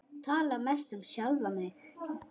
Tala mest um sjálfan sig.